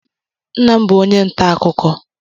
Nna m bú onye ntà akụkọ.